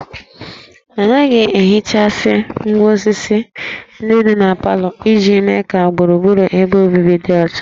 A na-ehichasị ngwá osisi ndị dị na parlour iji mee ka gburugburu ebe obibi dị ọcha